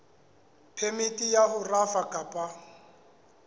phemiti ya ho rafa kapa